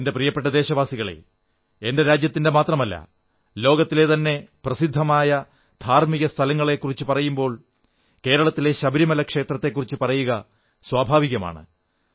എന്റെ പ്രിയപ്പെട്ട ദേശവാസികളേ എന്റെ രാജ്യത്തിന്റെ മാത്രമല്ല ലോകത്തിലെതന്നെ പ്രസിദ്ധമായ ധാർമ്മിക സ്ഥലങ്ങളെക്കുറിച്ചു ചർച്ചചെയ്യുമ്പോൾ കേരളത്തിലെ ശബരിമല ക്ഷേത്രത്തെക്കുറിച്ചു പറയുക സ്വാഭാവികമാണ്